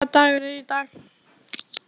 Otta, hvaða dagur er í dag?